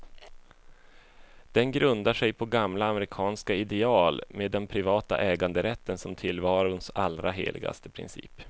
Den grundar sig på gamla amerikanska ideal, med den privata äganderätten som tillvarons allra heligaste princip.